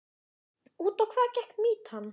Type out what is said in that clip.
Út á hvað gekk mýtan?